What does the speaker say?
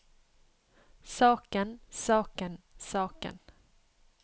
saken saken saken